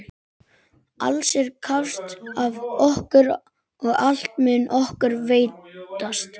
Alls er krafist af okkur og allt mun okkur veitast.